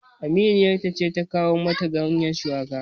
Aminiyar ta ce ta kawo mata ganyen shuwakan